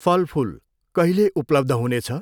फल फुल कहिले उपलब्ध हुनेछ?